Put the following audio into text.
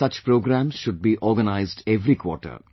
I feel such programmes should be organized every quarter